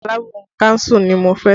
Alábùkún kánsù ni mo fẹ́